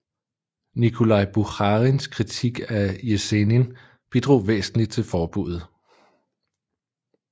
Nikolaj Bukharins kritik af Jesenin bidrog væsentligt til forbuddet